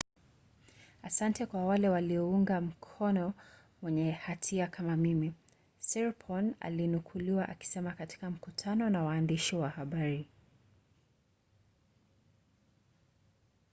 "asante kwa wale waliounga mkono mwenye hatia kama mimi siriporn alinukuliwa akisema katika mkutano na waandishi wa habari